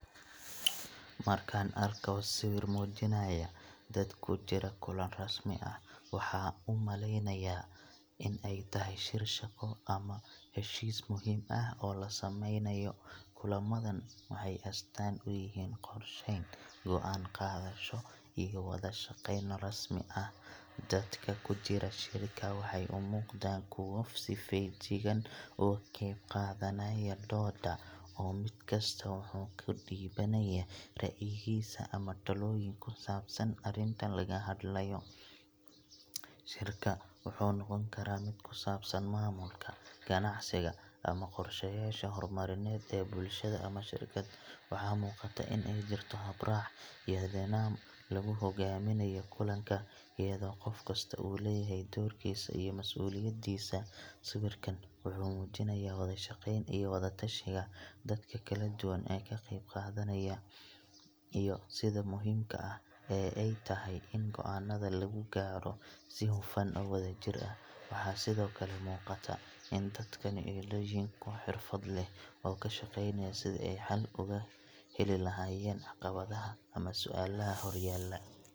Markaan arko sawir muujinaya dad ku jira kulan rasmi ah, waxa aan u maleynayaa in ay tahay shir shaqo ama heshiis muhiim ah oo la sameynayo. Kulamadan waxay astaan u yihiin qorsheyn, go'aan qaadasho, iyo wada-shaqeyn rasmi ah. Dadka ku jira shirka waxay u muuqdaan kuwo si feejigan uga qayb qaadanaya doodda, oo mid kasta wuxuu ka dhiibanayaa ra'yigiisa ama talooyin ku saabsan arrinta laga hadlayo. Shirka wuxuu noqon karaa mid ku saabsan maamulka, ganacsiga, ama qorshayaasha horumarineed ee bulshada ama shirkad. Waxaa muuqata in ay jirto hab-raac iyo nidaam lagu hogaaminayo kulanka, iyadoo qof kasta uu leeyahay doorkiisa iyo masuuliyaddiisa. Sawirkan wuxuu muujinayaa wada-shaqeyn iyo wada-tashiga dadka kala duwan ee ka qayb qaadanaya, iyo sida muhiimka ah ee ay tahay in go'aanada lagu gaadho si hufan oo wadajir ah. Waxaa sidoo kale muuqata in dadkani ay yihiin kuwo xirfad leh oo ka shaqeynaya sidii ay xal ugu heli lahaayeen caqabadaha ama su'aalaha horyaalla.